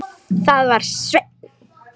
Það var Sveinn.